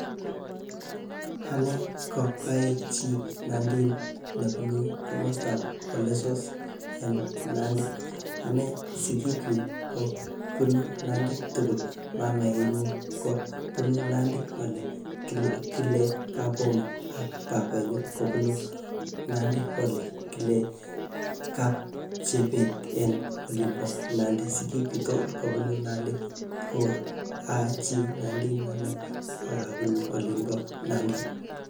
Ane ko aii chi nandin nebunu komostab Ol Lessos en Nandi. Anee, sigik chuk kobunu Nandi tugul. Mamainyu kobunu Nandi ole kile, kile Kabomo ak babainyu kobunu Nandi ole kile Kapchebet en olin bo Nandi. Sigik chuk tugul kobunu Nandi tugul. Aa chii nandin ane, akabunu olin bo Nandi.